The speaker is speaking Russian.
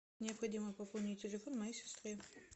необходимо пополнить телефон моей сестры